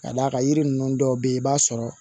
Ka d'a kan yiri ninnu dɔw bɛ yen i b'a sɔrɔ